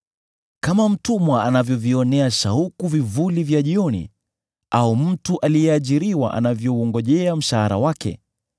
Kama mtumwa anavyovionea shauku vivuli vya jioni, au mtu aliyeajiriwa anavyoungojea mshahara wake,